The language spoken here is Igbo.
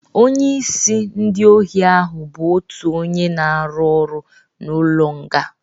Onye isi ndị ohi ahụ bụ otu onye na-arụ ọrụ n'ụlọ nga